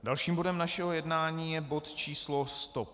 Dalším bodem našeho jednání je bod číslo